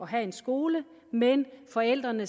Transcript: have en skole men at forældrene